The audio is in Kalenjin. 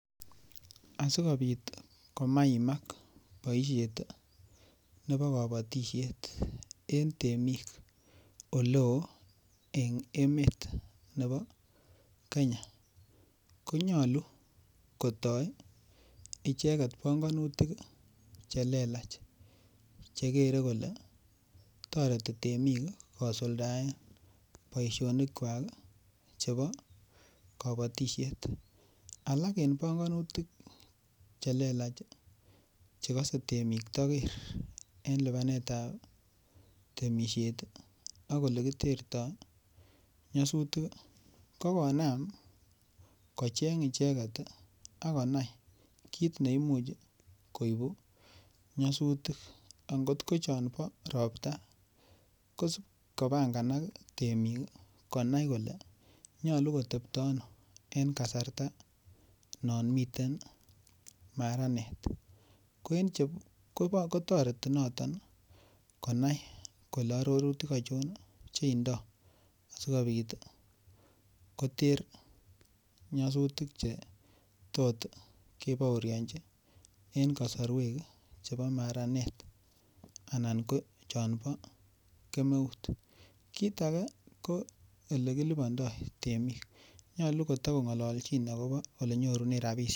Asikobit komaimak boisiet nebo kobotisiet en temiik oleo en emeet nebo Kenya, konyolu kotoi panganutik chelelach chegere kole toreti temik kosuldaen boisionikwak chebo kobotisiet, ako en panganutik chelelach chekose temik toger en lipanet ab temisiet ak olekiterto nyasutik ko konaam kocheng' icheget ak konai kiit neimuch koibu nyasutik, ang'ot ko chombo ropta kosib kopang'anak temik konai kole nyolu kotebto ano en kasarta yomiten maranet, kotoreti noton konai kole ororutik achon cheindo akikobit koter nyasutik chetot kebooryonchi en kosorwek chebo maranet anan ko che bo kemeut, kiit age ko olekilibondo temik, nyolu kotogong'ololjin akobo olekinyorundo rabisiek.